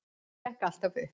Og það gekk allt upp.